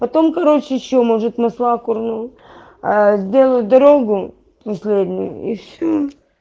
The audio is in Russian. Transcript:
потом короче ещё может масла курну сделаю дорогу последнюю и всё